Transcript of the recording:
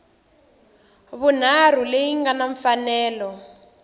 vunharhu leyi nga na mfanelo